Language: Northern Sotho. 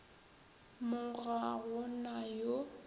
mo ga go na yo